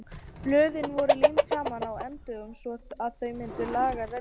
Blöðin voru límd saman á endunum svo að þau mynduðu langan renning.